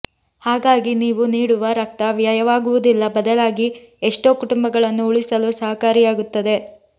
ಹಾಗಾಗೀ ನೀವು ನೀಡುವ ರಕ್ತ ವ್ಯಯವಾಗುವುದಿಲ್ಲ ಬದಲಾಗಿ ಎಷ್ಟೋ ಕುಟುಂಬಗಳನ್ನು ಉಳಿಸಲು ಸಹಕಾರಿಯಾಗುತ್ತದೆ